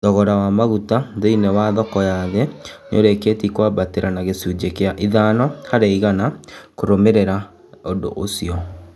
Thogora wa maguta thĩ iniĩ wa thoko ya thĩ nĩ ũrĩ kĩ tie kwambatĩ ra na gĩ cũnjĩ gĩ a ithano harĩ igana kũrũmĩ rĩ ra ũndũ ũcio